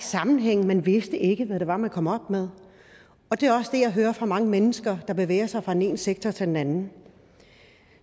sammenhæng man vidste ikke hvad det var man kom op med og det er også det jeg hører fra mange mennesker der bevæger sig fra den ene sektor til den anden